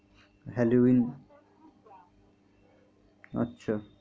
Halloween আচ্ছা।